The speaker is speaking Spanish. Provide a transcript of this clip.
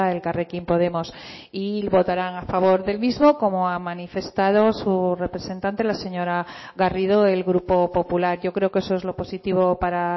elkarrekin podemos y votarán a favor del mismo como ha manifestado su representante la señora garrido el grupo popular yo creo que eso es lo positivo para